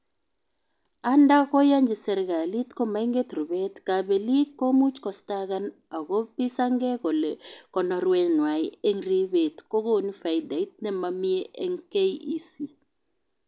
Andaa koyanchin serikalit komainget rubet, kabelik komuch kostakan akkobisanke kole konorwenwai eng ribet kokonu faidait nemamie eng KEC